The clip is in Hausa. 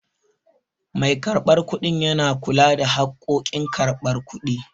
Mai karɓan kuɗi yana kula da harkokin karban kuɗi